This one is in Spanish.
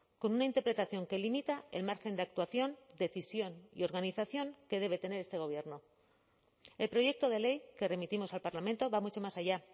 con una interpretación que limita el margen de actuación decisión y organización que debe tener este gobierno el proyecto de ley que remitimos al parlamento va mucho más allá